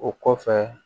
O kɔfɛ